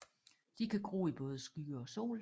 De kan gro i både skygge og sol